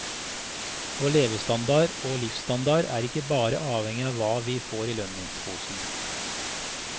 Vår levestandard og livsstandard er ikke bare avhengig av hva vi får i lønningsposen.